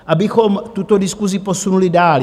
Abychom tuto diskusi posunuli dál.